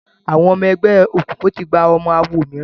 Àwọn ọmọ ẹgbẹ́ òkùnkùn tí gbà ọmọ awo mìíràn